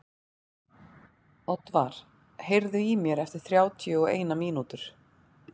Oddvar, heyrðu í mér eftir þrjátíu og eina mínútur.